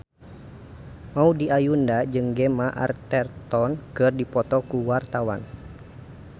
Maudy Ayunda jeung Gemma Arterton keur dipoto ku wartawan